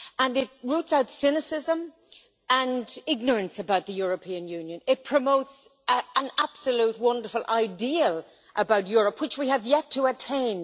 It roots out cynicism and ignorance about the European Union, and promotes an absolutely wonderful ideal for Europe, which we have yet to attain.